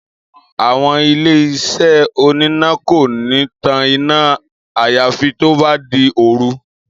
Àwo̩n ilé-is̩é oníná kò ní tan iná àyàfi tó bá di òru